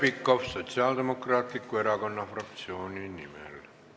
Heljo Pikhof Sotsiaaldemokraatliku Erakonna fraktsiooni nimel.